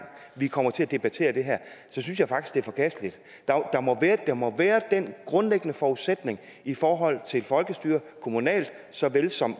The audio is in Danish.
vi kommer til at debattere det her synes jeg faktisk er forkasteligt der må være den grundlæggende forudsætning i forhold til folkestyret kommunalt såvel som